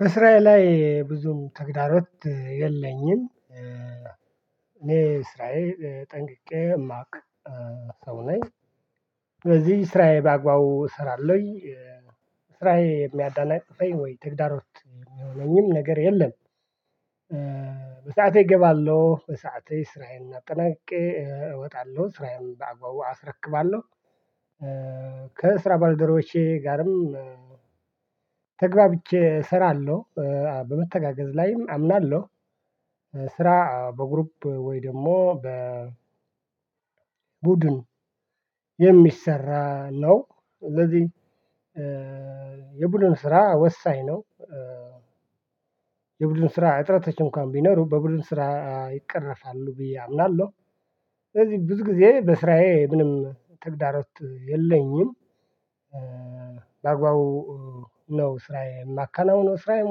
በስራየ ላይ ብዙም ተግዳሮት የለኝም እኔ ስራዬ ጠንቅቄ ማቅ ሰው ነኝ። በዚህ ስራዬ በአግባቡ እሰራለሁኝ። ስራዬ የሚያደናቅፈኝ ወይ ተግዳሮት የሚሆነኝም ነገር የለም። በሰአቴ እገባለሁ በሰአቴ ስራዬን አጠናቅቄ እወጣለሁ ስራዬም በአግባቡ አስረክባለሁ። ከስራ ባልደረቦቼ ጋርም ተግባብቼ እሰራለሁ። በመተጋገዝ ላይም አምናለሁ። ስራ በግሩፕ ወይ ደግሞ በ ቡድን የሚሰራ ነው። እንደዚህ የቡድኑ ስራ ወሳኝ ነው። የቡድኑ ስራ እጥረቶች እንኳን ቢኖሩ በቡድን ስራ ይቀረፋሉ ብዬ አምናለሁ። ስለዚህ ብዙ ጊዜ በስራዬ ምንም ተግዳሮት የለኝም። በአግባቡ ነው ስራዬን የማከናውነው ስራዬን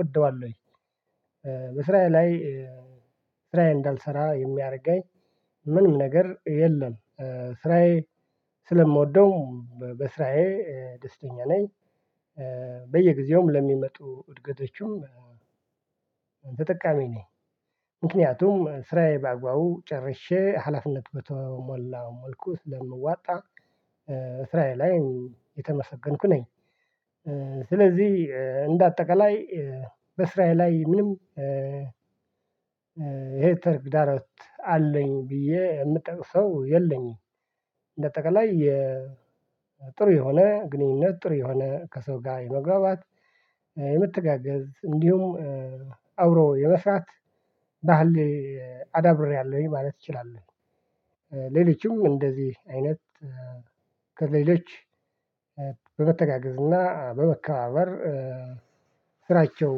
ወደዋለሁኝ። ወይ በስራዬ ላይ ስራዬ እንዳልሰራ የሚያደርገኝ ምንም ነገር የለም። ስራዬ ስለምወደው በስራዬ ደስተኛ ነኝ። በየጊዜውም ለሚመጡ እድገቶቹም ተጠቃሚ ነኝ። ምክንያቱም ስራዬ በአግባቡ ጨርሼ ሀላፍነት በተሞላ መልኩ ስለምዋጣ። ስራየ ላይ የተመሰገንኩ ነኝ። ስለዚህ እንደ አጠቃላይ በስራየ ላይ ምንም እሄ ተግዳሮት አለኝ ብዬ የምጠቅሰው የለኝም። እንደ አጠቃላይ የጥሩ የሆነ ግንኙነት ጥሩ የሆነ ከሰው ጋር የመግባባት የመተጋገዝ እንዲሁም አውሮ የመስራት ባህል አዳብሬያለሁኝ ማለት እችላለሁ። ሌላችሁም እንደዚህ አይነት ከሌሎች በመተገጋዝና በመከባበር ስራቸው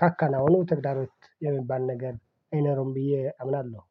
ካከናወኑ ተግዳሮት የሚባል ነገር አይነሩም ብዬ አብላለሁ